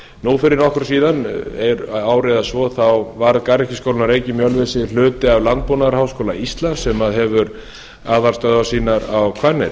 nú fyrir nokkru síðan fyrir ári eða svo þá var garðyrkjuskólinn að reykjum í ölfusi hluti af landbúnaðarháskóla íslands sem hefur aðalstöðvar sínar á hvanneyri